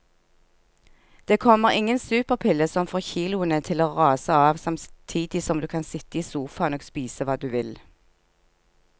Det kommer ingen superpille som får kiloene til å rase av samtidig som du kan sitte i sofaen og spise hva du vil.